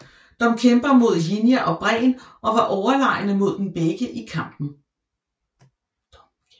Dom kæmper mod Jinja og Bren og var overlegne mod dem begge i kampen